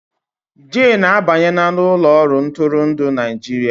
Jane abanyela n'ụlọ ọrụ ntụrụndụ Naịjirịa